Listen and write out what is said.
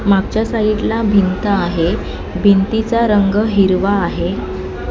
मागच्या साईडला भिंत आहे भिंतीचा रंग हिरवा आहे.